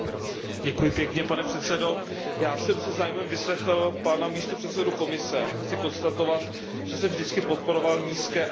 Pane předsedající, já jsem se zájmem vyslechl pana místopředsedu Komise a chci konstatovat, že jsem vždycky podporoval nízké a jednoduché daně.